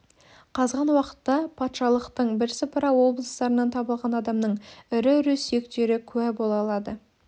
қазған уақытта патшалықтың бірсыпыра облыстарынан табылған адамның ірі-ірі сүйектері куә бола алады